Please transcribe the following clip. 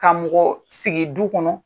Ka mɔgɔɔ sigi du kɔnɔ